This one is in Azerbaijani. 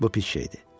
Bu pis şeydir.